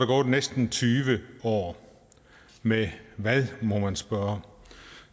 gået næsten tyve år med hvad må man spørge